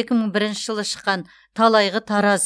екі мың бірінші жылы шыққан талайғы тараз